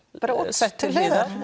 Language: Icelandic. sett til hliðar